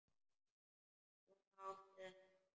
Svona átti þetta að vera.